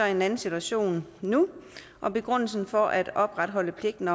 en anden situation og begrundelsen for at opretholde pligten